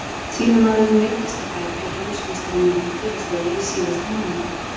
Chilemaðurinn meiddist á fæti á Heimsmeistaramóti félagsliða í síðasta mánuði.